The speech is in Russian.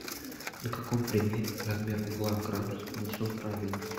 на каком примере размер угла в градусах нанесен правильно